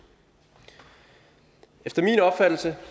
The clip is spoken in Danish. efter min opfattelse